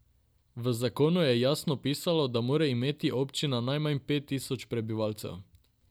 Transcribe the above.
V zakonu je jasno pisalo, da mora imeti občina najmanj pet tisoč prebivalcev.